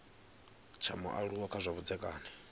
tsha mualuwa kha zwa vhudzekani